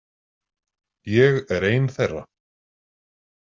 Ég er ein þeirra.